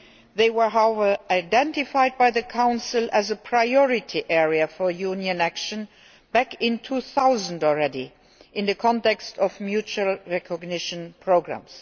They were, however, identified by the Council as a priority area for Union action back in 2000 in the context of mutual recognition programmes.